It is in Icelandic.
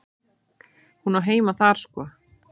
Hún á heima þar sko.